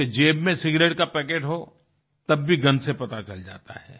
उसके जेब में सिगारेट का पैकेट हो तब भी गंध से पता चल जाता है